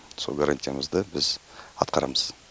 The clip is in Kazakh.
сол гарантиямызды біз атқарамыз